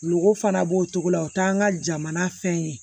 Golo fana b'o cogo la o t'an ka jamana fɛn ye